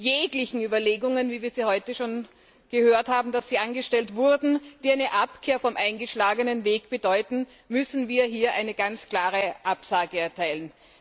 Jeglichen Überlegungen von denen wir heute schon gehört haben, dass sie angestellt wurden die eine Abkehr vom eingeschlagenen Weg bedeuten, müssen wir hier eine ganz klare Absage erteilen.